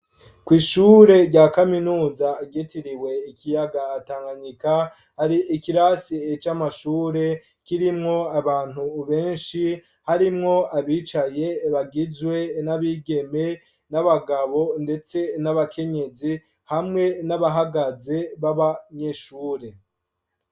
Kw' ishure rya kaminuza ryitiriwe ikiyaga Tanganika, hari ikirasi c'amashure kirimwo abantu benshi harimwo abicaye, bagizwe n'abigeme n'abagabo ndetse n'abakenyezi, hamwe n'abahagaze b'abanyeshure.